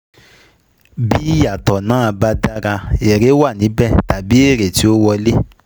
Bí ìyàtọ̀ náà ba dára, èrè wà níbẹ̀ tàbí èrè ti ó wọlé